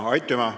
Aitüma!